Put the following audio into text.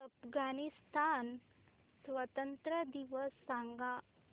अफगाणिस्तान स्वातंत्र्य दिवस सांगा